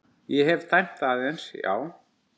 Ég hef dæmt aðeins já.